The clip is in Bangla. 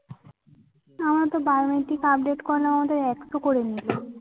আমার তো biometric update করানোর জন্যে একশো করে নিল।